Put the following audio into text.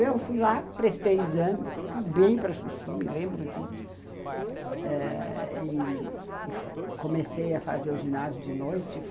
Eu fui lá, prestei exame, fui bem para chuchu, me lembro disso, eh, e comecei a fazer o ginásio de noite.